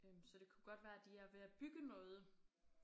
Øh så det kunne godt være de er ved at bygge noget